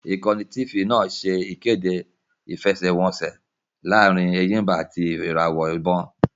Ìkànnì Tifì náà ṣẹ́ ìkéde ìfẹsẹ́wọnseẹ̀ laarin Ẹ̀yìmbà àti ìràwọ̀ ìbon